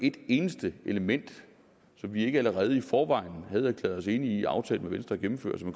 et eneste element som vi ikke allerede i forvejen havde erklæret os enig i og aftalt med venstre at gennemføre så